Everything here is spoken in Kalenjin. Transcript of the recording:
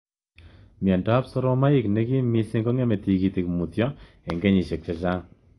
Myondob soromoik nekim missing kongeme tigitik mutyo eng kenyeisiek chechang